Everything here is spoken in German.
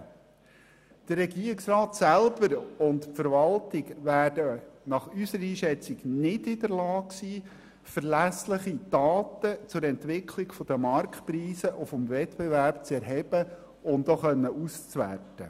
Der Regierungsrat und die Verwaltung werden nach unserer Einschätzung nicht in der Lage sein, selber verlässliche Daten zur Entwicklung der Marktpreise und des Wettbewerbs zu erheben und auszuwerten.